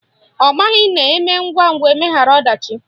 Ọ maghị na eme ngwangwa, emeghara ọdachi